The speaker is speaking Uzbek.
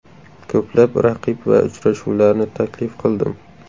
Ko‘plab raqib va uchrashuvlarni taklif qildim.